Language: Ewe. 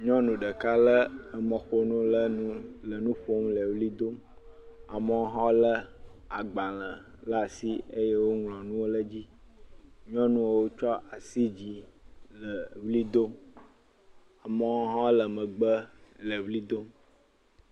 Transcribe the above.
Nyɔnu ɖeka lé mɔƒonu ɖe nu le nuƒom le ʋli dom. Amewo hã lé agbalẽ ɖe asi eye woŋlɔ nuwo ɖe edzi. Nyɔnuwo ts asi yi dzi le ʋli dom amewo hã le megbe le ʋli dom.